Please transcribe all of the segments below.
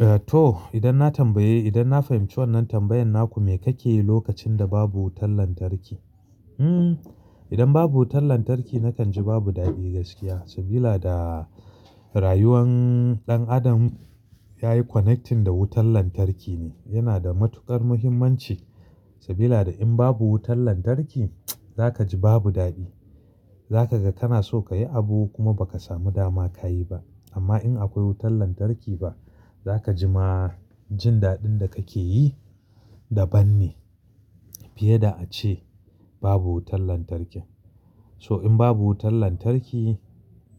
Eh to, idan na tambaye, idan na fahimci wannan tambayan naku me kake yi lokacin da babu wutar lantarki? Hmm, idan babu wutar lantarki nakan ji babu daɗi gaskiya. Sabila da rayuwan ɗan adam yayi connecting da wutar lantarki ne. Yana da matuƙar muhimmanci. Sabila da in babu wutan lantarki zaka ji babu daɗi. Zaka ga kana so kayi abu kuma bakasamu dama kayi ba. Amma in akwai wutar lantarki fa, zaka ji ma jin daɗin da kake yi daban ne. Fiye da ace babu wutan lantarkin. So in babu wutan lantarki,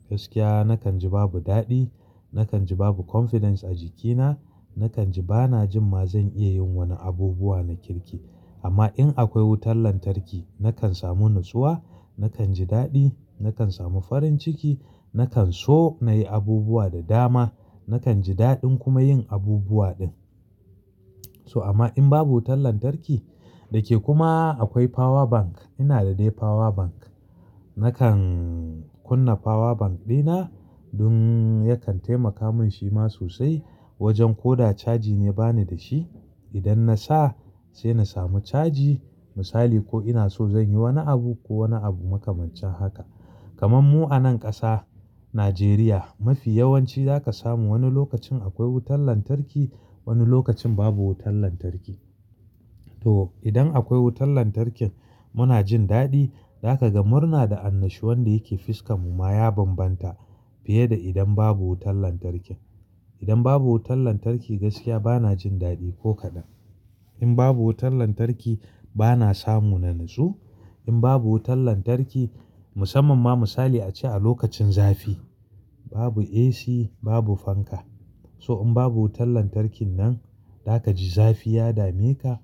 gaskiya nakan ji babu daɗi, nakan ji babu confidence a jikina, nakan ji bana jin ma zan iya yin wani abubuwa na kirki. Amma in akwai wutan lantarki, nakan samu natsuwa, nakan ji daɗi, nakan samu farin ciki, nakan so nayi abubuwa da dama, nakan ji daɗin kuma yin abubuwa din. So amma in babu wutan lantarki, da ke kuma akwai power bank. Ina da dai power bank. Nakan kunna power bank ɗina don yakan taimaka min shi ma sosai. Wajen ko da chargi ne bani da shi. Idan nasa sai na samu charji. Misali ko ina so zan yi wani abu ko wani abu makamancin haka. Kaman mu anan ƙasa, Nijeriya. Mafi yawanci zaka samu wani lokacin akwai wutan lantarki, wani lokacin babu wutan lantarki. To idan akwai wutan lantarkin muna jin daɗi. Zaka ga murna da annashuwan da yake fiskan mu ma ya banbanta. Fiye da idan babu wutan lantarkin. Idan babu wutan lantarki gaskiya bana jin daɗi ko kaɗan. In babu wutan lantarki bana samu na natsu. In babu wutan lantarki, musamman ma misali a ce a lokacin zafi. Babu AC, babu fanka. So in babu wutan lantarkin nan, za ka ji zafi ya dame ka.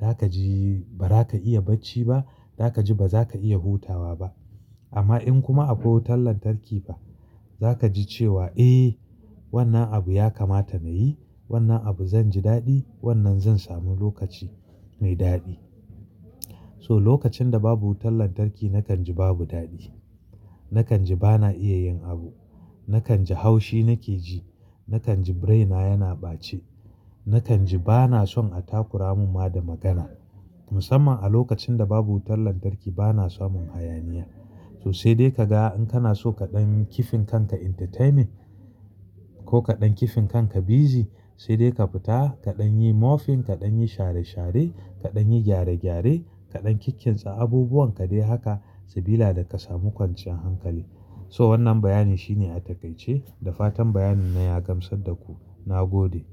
Za ka ji ba za ka iya bacci ba. Za ka ji ba za ka iya hutawa ba. Amma in kuma akwai wutan lantarki fa, za ka ji cewa, "Eh wannan abu ya kamata na yi, wannan abu zan ji daɗi, wannan zan samu lokaci mai daɗi." So lokacin da babu wutan lantarki nakan ji babu daɗi. Nakan ji bana iya yin abu. Nakan ji haushi nake ji. Nakan ji braina yana ɓace. Nakan ji bana son a takura mun ma da magana. Musamman a lokacin da babu wutan lantarki bana samun hayaniya. So sai dai ka ga in kana so kaɗan kifin kanka entertainment ko kaɗan kifin kanka busy, sai dai ka fita kaɗan yi mofin, kaɗan yi share share, kaɗan yi gyare gyare, kaɗan kikkinsa abubuwan ka dai haka. Sabila da ka samu kwanciyan hankali. So wannan bayanin shine a takaice. Da fatan bayanin na ya gamsar da ku. Na gode.